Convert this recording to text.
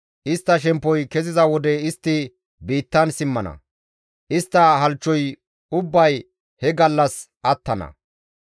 Istta shemppoy keziza wode istti biittan simmana; istta halchchoy ubbay he gallas attana.